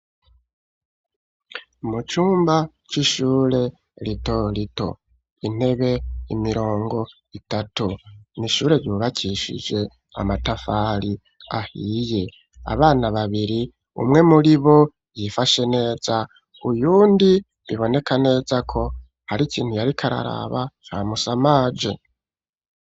Mu cumba c'ishure rito rito, Intebe, imirongo itatu. N'Ishure ryubakishije amatafari ahiye. Abana babiri, umwe muri bo yifashe neza uyundi biboneka neza ko hari ikintu yariko araraba camusamaje.